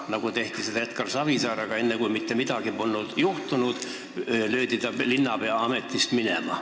Nii tehti Edgar Savisaarega, st juba siis, kui mitte midagi polnud veel juhtunud, löödi ta linnapeaametist minema.